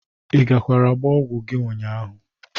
Ị gakwara gba ọgwo gi ụnyaahụ?